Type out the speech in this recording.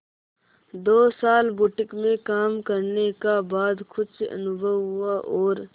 दो साल बुटीक में काम करने का बाद कुछ अनुभव हुआ और